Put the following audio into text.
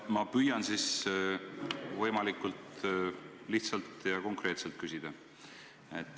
Ma püüan siis võimalikult lihtsalt ja konkreetselt küsida.